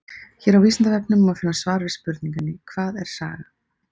Hér á Vísindavefnum má finna svar við spurningunni Hvað er saga?